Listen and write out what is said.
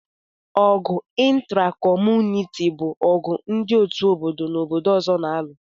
Ọgụ ịntra kọmunịti bụ ọgụ ndị otu obodo na obodo ọzọ n'alu